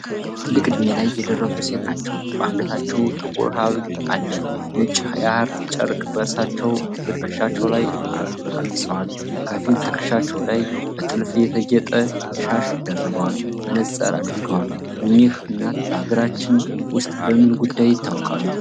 ትልቅ ዕድሜ ላይ የደረሱ ሴት ናቸው። በአንገታቸው ጥቁር ሐብል አለ። ነጭ የሐር ጨርቅ በእራሳቸውና በትከሻቸው ላይ አልብሰዋል። ከፊል ትከሻቸው ላይ በጥልፍ የተጌጠ ሻሽ ደርበዋል። መነጽር አድርገዋል። እኚህ እናት በሀገራችን ውስጥ በምን ጉዳይ ይታወቃሉ?